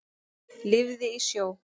Lifði í sjó.